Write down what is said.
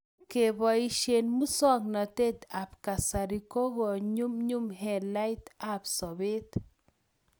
keposhe muswogntet ab kasarik ko kokonyumnyum haliyet ab sobet